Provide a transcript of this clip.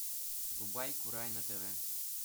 врубай курай на тв